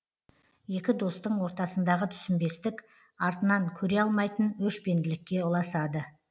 екі достың ортасындағы түсінбестік артынан көре алмайтын өшпенділікке ұласады